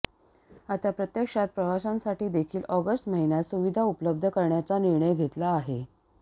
आता प्रत्यक्षात प्रवाशांसाठीदेखील ऑगस्ट महिन्यात सुविधा उपलब्ध करण्याचा निर्णय घेतला आहे